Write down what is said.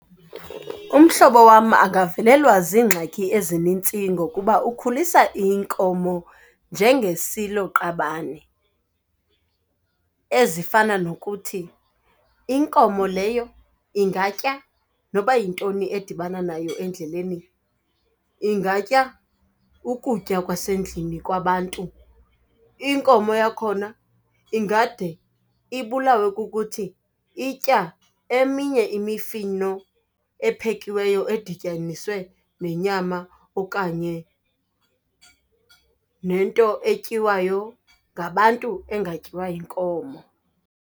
Umhlobo wam angavelelwa ziingxaki ezinintsi ngokuba ukhulisa inkomo njengesiloqabane ezifana nokuthi, inkomo leyo ingatya noba yintoni edibana nayo endleleni. Ingatya ukutya kwasendlini kwabantu. Inkomo yakhona ingade ibulawe kukuthi itya eminye imifino ephekiweyo edityaniswe nenyama okanye nento etyiwa ngabantu engatyiwa yinkomo.